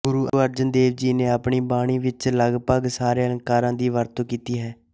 ਗੁਰੂ ਅਰਜਨ ਦੇਵ ਜੀ ਨੇ ਆਪਣੀ ਬਾਣੀ ਵਿੱਚ ਲਗਪਗ ਸਾਰੇ ਅਲੰਕਾਰਾਂ ਦੀ ਵਰਤੋਂ ਕੀਤੀ ਹੈ